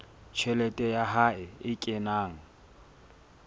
tjhelete ya hae e kenang